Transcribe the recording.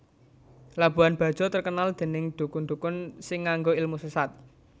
Labuhan Bajo terkenal dening dukun dukun sing nganggo ilmu sesat